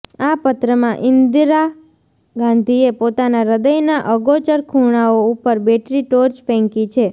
આ પત્રમાં ઈન્દિરા ગાંધીએ પોતાના હૃદયના અગોચર ખૂણાઓ ઉપર બેટરી ટોર્ચ ફેંકી છે